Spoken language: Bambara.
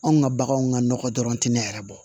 Anw ka baganw ka nɔgɔ dɔrɔn tɛ ne yɛrɛ bɔ